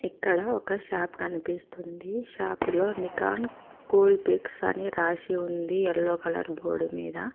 ఇక్కడ ఒక షాప్ కనిపిస్తుంది షాపులో నికాన్ కూల్బెక్స్ అని రాసి ఉంది ఎల్లో కలర్ బోర్డ్ మీద.